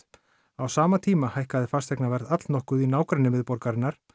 á sama tíma hækkaði fasteignaverð allnokkuð í nágrenni miðborgarinnar